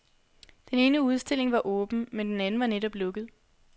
Den ene udstilling var åben, men den anden var netop lukket.